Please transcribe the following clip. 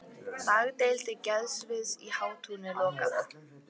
Dagdeild geðsviðs í Hátúni lokað